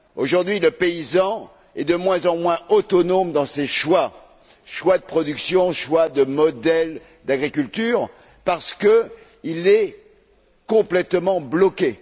Aujourd'hui, le paysan est de moins en moins autonome dans ses choix choix de production, choix de modèle d'agriculture, parce qu'il est complètement bloqué.